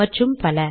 மற்றும் பல